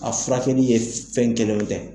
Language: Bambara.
A furakɛli ye, fɛnw kelenw tɛ.